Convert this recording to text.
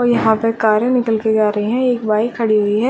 और यहाँ पे कारे निकल के आ रही हैं एक बाइक खड़ी हुई है।